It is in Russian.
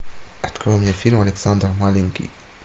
открой мне фильм александр маленький